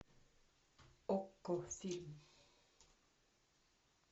окко фильм